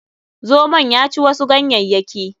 Zomon ya ci wasu ganyayyaki.